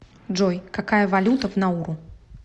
джой какая валюта в науру